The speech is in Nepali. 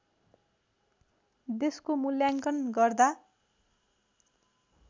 देशको मुल्याङ्कन गर्दा